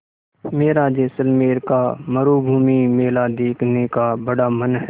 मेरा जैसलमेर का मरूभूमि मेला देखने का बड़ा मन है